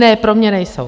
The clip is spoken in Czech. Ne, pro mě nejsou.